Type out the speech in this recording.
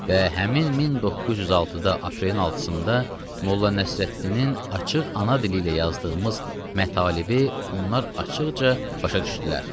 Və həmin 1906-da aprelin 6-sında Molla Nəsrəddinin açıq ana dili ilə yazdığımız mətalibi onlar açıqca başa düşdülər.